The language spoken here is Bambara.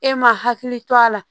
E ma hakili to a la